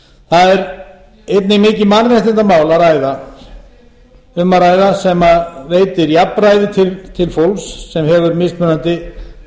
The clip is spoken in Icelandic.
það er einnig um mikið mannréttindamál að ræða sem veitir jafnræði til fólks sem hefur mismunandi